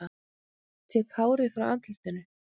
Tek hárið frá andlitinu.